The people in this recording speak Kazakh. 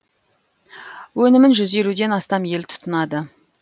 өнімін жүз елуден астам ел тұтынады